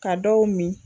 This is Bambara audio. Ka dɔw min